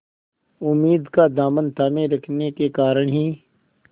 उम्मीद का दामन थामे रखने के कारण ही